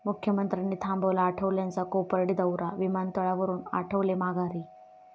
मुख्यमंत्र्यांनी थांबवला आठवलेंचा कोपर्डी दाैरा, विमानतळावरुन आठवले माघारी